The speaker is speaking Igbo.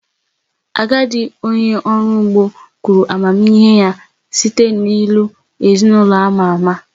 Agadi onye ọrụ ugbo kwuru amamihe ya site n’ilu ​​ezin’ụlọ ama ama.